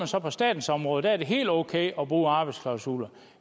så på statens område der er det helt okay at bruge arbejdsklausuler